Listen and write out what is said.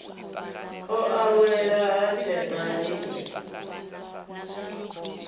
o awela ha tshena riṋe